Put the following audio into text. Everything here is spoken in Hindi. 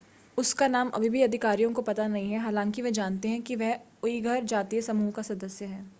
उसका नाम अभी भी अधिकारियों को पता नहीं है हालांकि वे जानते हैं कि वह उइघर जातीय समूह का सदस्य है